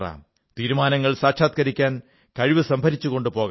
തീരുമാനങ്ങൾ സാക്ഷാത്കരിക്കാൻ കഴിവ് സംഭരിച്ചുകൊണ്ട് പോകാം